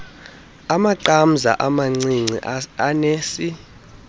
amaqamza amancinci anesi